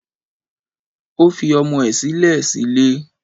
Ó fi ọmọ ẹ̀ sílẹ̀ sílé